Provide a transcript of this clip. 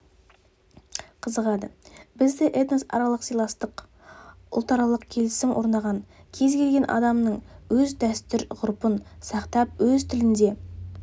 қызығады бізде этносаралық сыйластық ұлтаралық келісім орнаған кез келген адамның өз дәстүр-ғұрпын сақтап өз тілінде